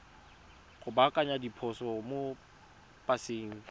go baakanya diphoso mo paseng